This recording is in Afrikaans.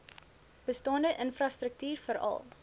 bestaande infrastruktuur veral